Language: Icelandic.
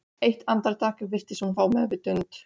Eitt andartak virtist hún fá meðvitund.